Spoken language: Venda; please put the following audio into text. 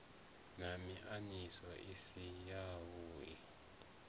na miaisano i si yavhui